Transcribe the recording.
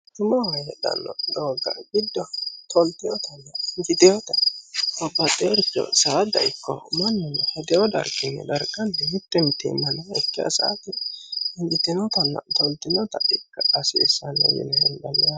Quchumaho heedhano doogga gido tolteotanna enjiiteota babaxeeoricho saada ikko manuno hedeo darginni daraga mite mitiimma nookiha enjiitinotanna toltinota ikka hasiisano yinne hendanni yaate.